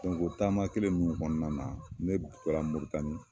o taama kelen ninnu kɔnɔna na ne taara Moritani